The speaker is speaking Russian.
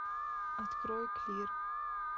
открой клир